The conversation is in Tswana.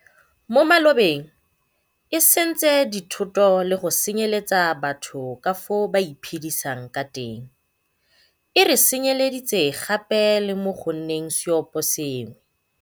mo malobeng e sentse dithoto le go senye letsa batho ka fao ba iphe disang ka teng, e re senye leditse gape le mo go nneng seoposengwe.